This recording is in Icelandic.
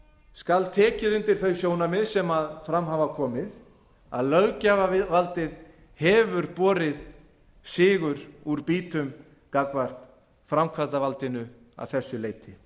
skal tekið undir þau sjónarmið sem fram hafa komið að löggjafarvaldið hefur borið sigur úr býtum gagnvart framkvæmdarvaldinu að þessu leyti